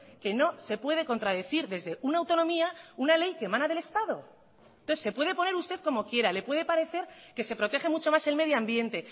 que no se puede contradecir desde una autonomía una ley que emana del estado entonces se puede poner usted como quiera le puede parecer que se protege mucho más el medio ambiente